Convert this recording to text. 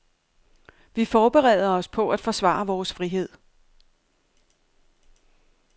Vi forbereder os på at forsvare vores frihed.